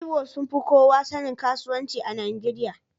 Igbo sun fi kowa sanin kasuwanci a Najeriya.